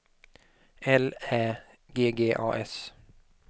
L Ä G G A S